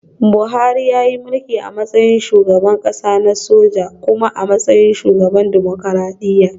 Buhari yayi mulki a matsayin shugaban kasa na soja kuma a matsayin shugaban dimokuradiyya